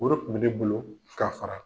O re kun bɛ ne bolo ka